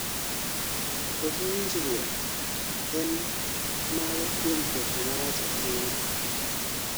Koso winjruok en mago kuom ketho marach ahinya